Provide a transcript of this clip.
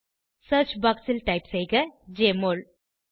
search box ல் JMOL என type செய்க